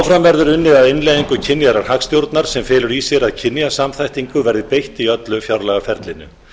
verður unnið að innleiðingu kynjaðrar hagstjórnar sem felur í sér að kynjasamþættingu verður beitt í öllu fjárlagaferlinu